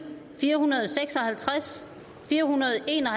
fire hundrede og seks og halvtreds fire hundrede og en og